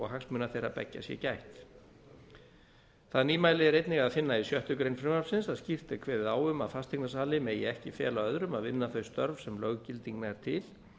hagsmuna þeirra beggja sé gætt það nýmæli er einnig að finna í sjöttu greinar frumvarpsins að skýrt er kveðið á um að fasteignasali megi ekki fela öðrum að vinna þau störf sem löggilding nær til